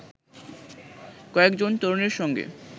কয়েকজন তরুণের সঙ্গে